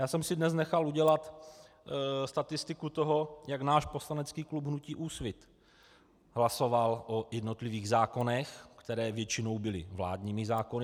Já jsem si dnes nechal udělat statistiku toho, jak náš poslanecký klub hnutí Úsvit hlasoval o jednotlivých zákonech, které většinou byly vládními zákony.